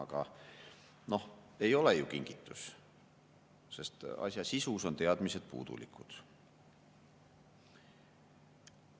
Aga ei ole ju kingitus, sest asja sisust on teadmised puudulikud.